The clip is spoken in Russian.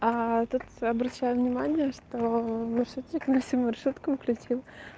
а тут обращаю внимание что маршрутчик на всю маршрутку включил